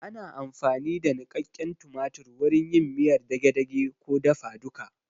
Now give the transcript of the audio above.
Ana amfani da niƙaƙen tumatir wurin yin miyar dage-dage ko dafa duka